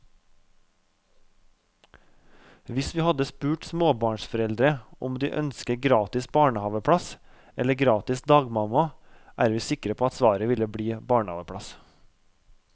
Hvis vi hadde spurt småbarnsforeldre om de ønsker gratis barnehaveplass eller gratis dagmamma, er vi sikre på at svaret ville bli barnehaveplass.